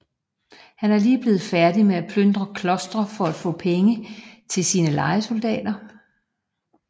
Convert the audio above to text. Han var lige blevet færdig med at plyndre klostre for at få penge til sine lejesoldater